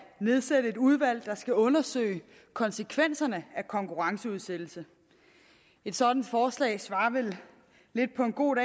nedsætte et udvalg der skal undersøge konsekvenserne af konkurrenceudsættelse et sådant forslag svarer vel på en god